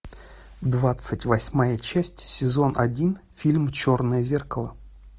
двадцать восьмая часть сезон один фильм черное зеркало